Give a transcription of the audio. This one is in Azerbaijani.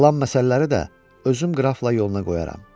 Qalan məsələləri də özüm qrafla yoluna qoyaram.